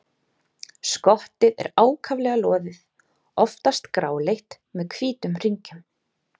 Skottið er ákaflega loðið, oftast gráleitt með hvítum hringjum.